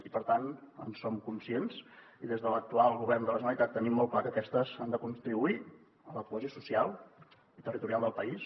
i per tant en som conscients i des de l’actual govern de la generalitat tenim molt clar que aquestes han de contribuir a la cohesió social i territorial del país